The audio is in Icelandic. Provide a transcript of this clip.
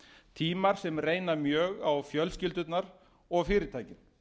tímar sem reyna mjög á fjölskyldurnar og fyrirtækin